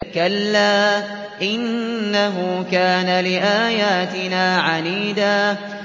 كَلَّا ۖ إِنَّهُ كَانَ لِآيَاتِنَا عَنِيدًا